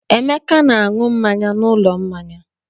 Emeka na-aṅụ mmanya n'ụlọ mmanya.